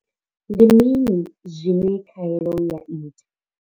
Ndi mini zwine khaelo ya ita?